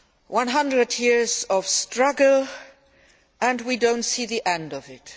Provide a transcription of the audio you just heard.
One hundred years of struggle and we still do not see the end of it.